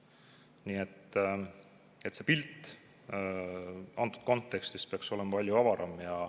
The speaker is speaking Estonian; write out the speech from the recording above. Nii et see pilt antud kontekstis peaks olema palju avaram.